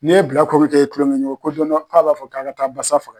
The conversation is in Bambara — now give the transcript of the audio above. N'i ye bilaakomi kɛ i tulonkɛɲɔgɔn ye ko don dɔ k'a b'a fɔ k'a' ka taa basa faga.